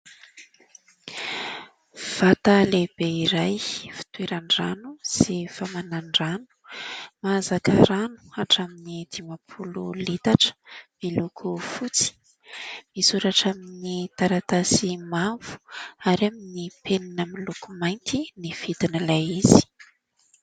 Vata lehibe iray fitoeran-drano sy famanan-drano. Mahazaka rano hatramin'ny dimampolo litatra, miloko fotsy. Misoratra amin'ny taratasy mavo ary amin'ny penina miloko mainty ny vidin'ilay izy.